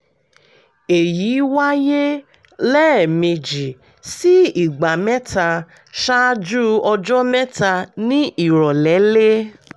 èyí wáyé lẹ́ẹ̀mejì sí ìgbà mẹ́ta ṣáájú ọjọ́ mẹ́ta ní ìrọ̀lẹ́lé